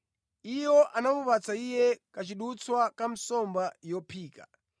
Iwo anamupatsa Iye kachidutswa ka nsomba yophika.